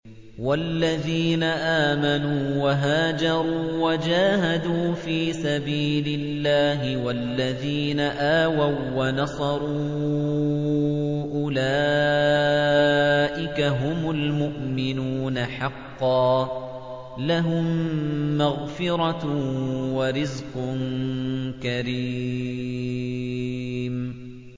وَالَّذِينَ آمَنُوا وَهَاجَرُوا وَجَاهَدُوا فِي سَبِيلِ اللَّهِ وَالَّذِينَ آوَوا وَّنَصَرُوا أُولَٰئِكَ هُمُ الْمُؤْمِنُونَ حَقًّا ۚ لَّهُم مَّغْفِرَةٌ وَرِزْقٌ كَرِيمٌ